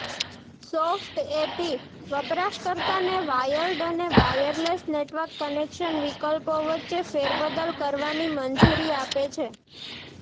soft AP વપરાશકર્તાને wired અને wireless network connection વિકલ્પો વચ્ચે ફેરબદલ કરવાની મંજૂરી આપે છે